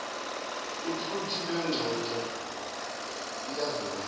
ukluthi lengxoxo iyazungeza